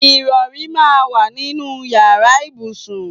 Ìrọ̀rí máa ń wà nínú ìyára ibùsùn.